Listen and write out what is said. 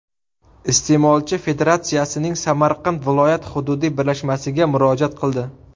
Iste’molchi federatsiyaning Samarqand viloyat hududiy birlashmasiga murojaat qildi.